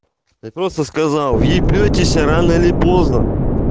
ты просто сказал въебитесь рано или поздно